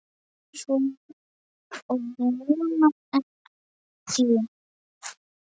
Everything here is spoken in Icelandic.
Ég vona ekki